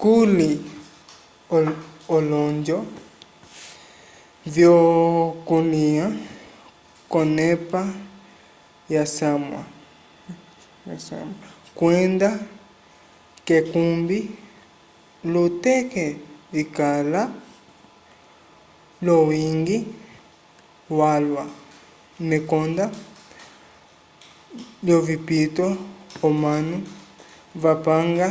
kuli olonjo vyokulya k'onepa yosamwa kwenda k'ekumbi luteke vikala l'owiñgi walwa mekonda lyovipito omanu vapanga